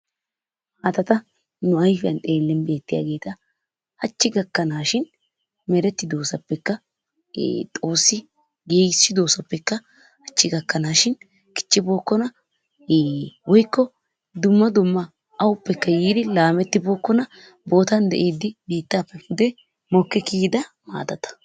maatata nu ayifiyan xeellin beettiyaageeta hachchi gakkanaashin merettidoosappekka xoossi giigissidoosappekka hachchi gakkanaashin kichchibookkona woyikko awuppekka yiidi laamettibookkona bootan de'iiddi mokki kiyida maatata.